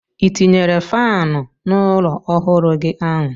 I tinyere faanụ n'ụlọ ọhụrụ gị ahụ?